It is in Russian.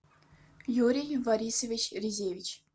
юрий борисович резевич